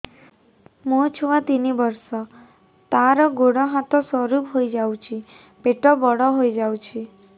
ମୋ ଛୁଆ ତିନି ବର୍ଷ ତାର ଗୋଡ ହାତ ସରୁ ହୋଇଯାଉଛି ପେଟ ବଡ ହୋଇ ଯାଉଛି